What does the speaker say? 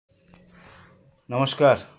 নমস্কার